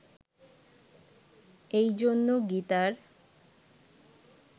এই জন্য গীতার